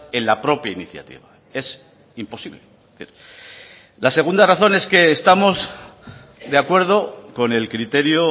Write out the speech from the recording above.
en la propia iniciativa es imposible la segunda razón es que estamos de acuerdo con el criterio